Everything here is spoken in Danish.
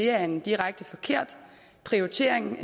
er en direkte forkert prioritering